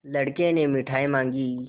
लड़के ने मिठाई मॉँगी